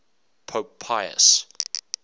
pope pius